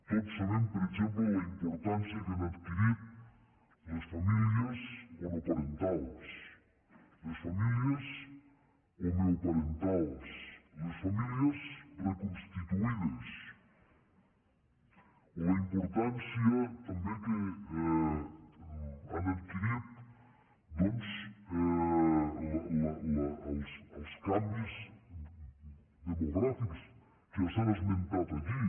tots sabem per exemple la importància que han adquirit les famílies monoparentals les famílies homoparentals les famílies reconstituïdes o la importància també que han adquirit doncs els canvis demogràfics que ja s’han esmentat aquí